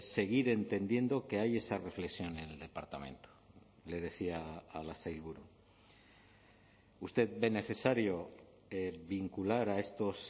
seguir entendiendo que hay esa reflexión en el departamento le decía a la sailburu usted ve necesario vincular a estos